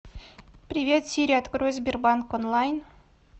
привет сири открой сбербанк онлайн